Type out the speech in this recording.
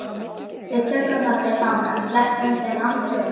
Við tökum þá til fanga. sleppum þeim aldrei út.